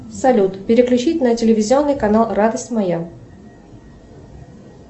салют переключить на телевизионный канал радость моя